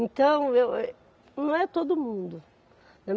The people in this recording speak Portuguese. Então, eu êh, não é todo mundo.